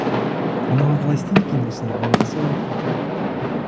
аналар қалай істейді екен осыны мынада солай ғой типа